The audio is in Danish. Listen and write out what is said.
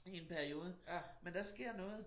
I en periode men der sker noget